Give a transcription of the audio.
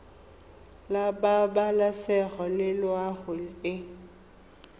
la pabalesego le loago e